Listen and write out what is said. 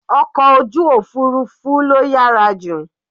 Ọkọ̀ ojú òfurufú ló yàrá jù.